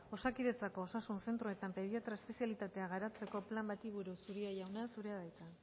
osakidetzako osasun zentroetan pediatria espezialitatea garatzeko plan bati buruz uria jauna zurea da hitza